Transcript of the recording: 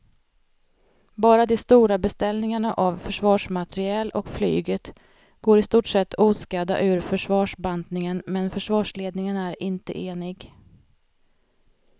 Bara de stora beställningarna av försvarsmateriel och flyget går i stort oskadda ur försvarsbantningen men försvarsledningen är inte enig.